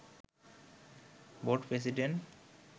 board president